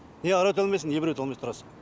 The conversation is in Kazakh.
ия әрі өте алмайсың иә бері өте алмай тұрасың